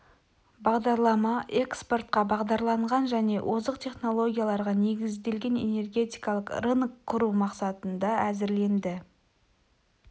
бағдарлама экспортқа бағдарланған және озық технологияларға негізделген энергетикалық рынок құру мақсатында әзірленді